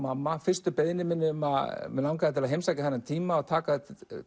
fyrstu beiðni minni um að mig langaði til að heimsækja þennan tíma og taka